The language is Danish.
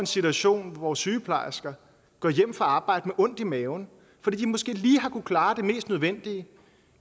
situation hvor sygeplejersker går hjem fra arbejde med ondt i maven fordi de måske lige har kunnet klare det mest nødvendige